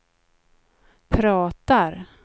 pratar